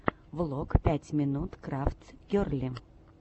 влог пять минут крафтс герли